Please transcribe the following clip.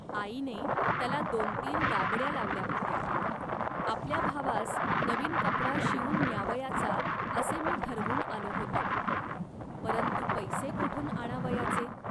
आईने त्याला दोनतीन गाबड्या लावल्या होत्या. आपल्या भावास नवीन कपडा शिवून न्यावयाचा, असे मी ठरवून आलो होतो, परंतु पैसे कोठून आणावयाचे